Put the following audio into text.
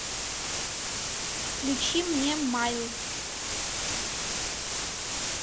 включи мне майлз